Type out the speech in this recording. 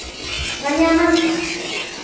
kanyamazane